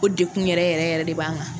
O de kun yɛrɛ yɛrɛ yɛrɛ de b'an kan.